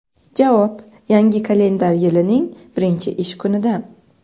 Javob: Yangi kalendar yilining birinchi ish kunidan.